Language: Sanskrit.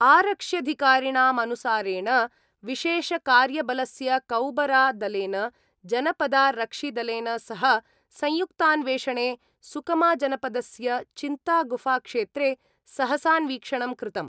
आरक्ष्यधिकारिणामनुसारेण विशेषकार्यबलस्य कौबरा-दलेन जनपदारक्षिदलेन सह संयुक्तान्वेषणे सुकमाजनपदस्य चिंतागुफाक्षेत्रे सहसान्वीक्षणं कृतम्।